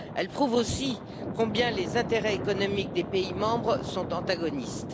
Elle prouve aussi combien les intérêts économiques des pays membres sont antagonistes.